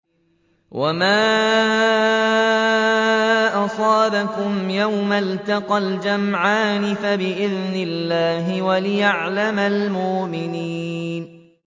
وَمَا أَصَابَكُمْ يَوْمَ الْتَقَى الْجَمْعَانِ فَبِإِذْنِ اللَّهِ وَلِيَعْلَمَ الْمُؤْمِنِينَ